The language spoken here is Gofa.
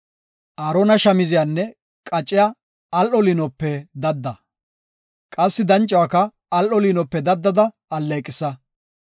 “Aarona shamziyanne qacciya al7o liinope dadda. Qassi dancuwaka al7o liinope daddada alleeqisa.